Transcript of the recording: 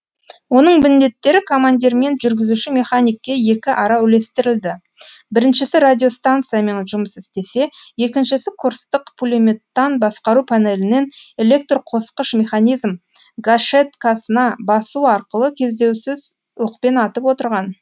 оның міндеттері командирмен жүргізуші механикке екіара үлестірілді біріншісі радиостанциямен жұмыс істесе екіншісі курстық пулеметтан басқару панелінен электрқосқыш механизм гашеткасына басу арқылы кездеусіз оқпен атып отырған